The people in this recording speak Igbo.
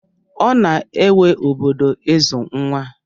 Ọ na-ewe obodo ịzụ nwa.